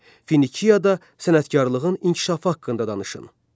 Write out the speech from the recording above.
Finiyada sənətkarlığın inkişafı haqda danışın.